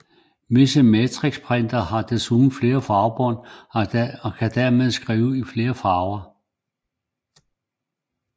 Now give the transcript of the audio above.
Visse matrixprintere har desuden flere farvebånd og kan dermed skrive i farver